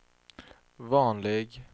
vanlig